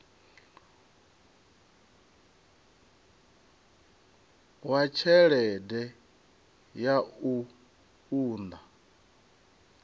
wa tshelede ya u unḓa